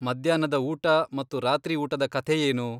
ಮಧ್ಯಾಹ್ನದ ಊಟ ಮತ್ತು ರಾತ್ರಿ ಊಟದ ಕಥೆಯೇನು?